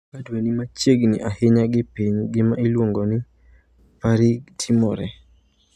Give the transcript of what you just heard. Ka dwe ni machiegni ahinya gi piny gima iluongo ni perigee timore.